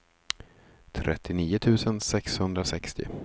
trettionio tusen sexhundrasextio